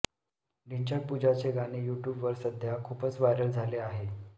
ढिंच्याक पूजाचे गाणे यूट्यूबवर सध्या खूपच व्हायरल झाले आहे